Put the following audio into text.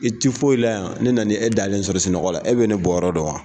I tɛ foyi la yan ne nana e dalen sɔrɔ sunɔgɔ la e bɛ ne bɔ yɔrɔ dɔn wa.